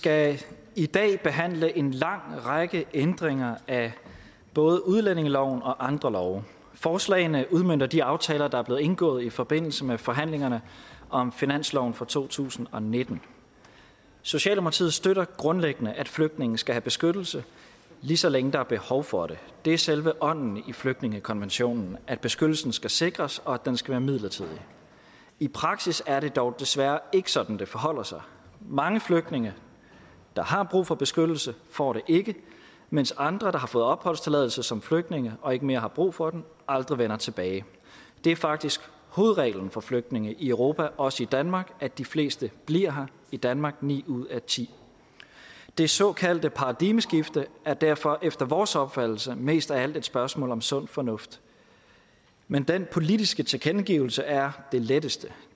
skal i dag behandle en lang række ændringer af både udlændingeloven og andre love forslagene udmønter de aftaler der er blevet indgået i forbindelse med forhandlingerne om finansloven for to tusind og nitten socialdemokratiet støtter grundlæggende at flygtninge skal have beskyttelse lige så længe der er behov for det det er selve ånden i flygtningekonventionen at beskyttelsen skal sikres og at den skal være midlertidig i praksis er det dog desværre ikke sådan det forholder sig mange flygtninge der har brug for beskyttelse får det ikke mens andre der har fået opholdstilladelse som flygtninge og ikke mere har brug for den aldrig vender tilbage det er faktisk hovedreglen for flygtninge i europa også i danmark at de fleste bliver her i danmark ni ud af ti det såkaldte paradigmeskifte er derfor efter vores opfattelse mest af alt et spørgsmål om sund fornuft men den politiske tilkendegivelse er det letteste